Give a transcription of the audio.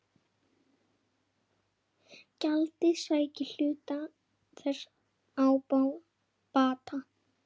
Gjaldið sæki hluta þess ábata.